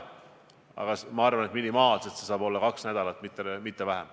Aga kui seda teha, siis ma arvan, et minimaalselt saab see olla kaks nädalat, mitte vähem.